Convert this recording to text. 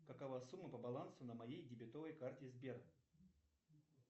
какова сумма по балансу на моей дебетовой карте сбер